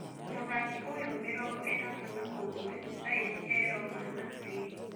Mũthaki ũyũ, mĩrongoĩtatu na ũmwe thaici e-Roma na Thirĩ.